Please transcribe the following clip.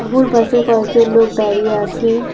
তাবুর পাশে কয়েকজন লোক দাঁড়িয়ে আছে।